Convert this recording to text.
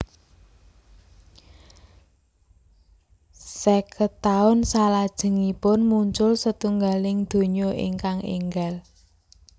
Sèket taun salajengipun muncul setunggaling donya ingkang énggal